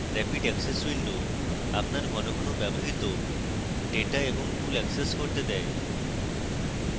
rapid access window আপনার ঘন ঘন ব্যবহৃত ডেটা এবং tools অ্যাক্সেস করতে দেয়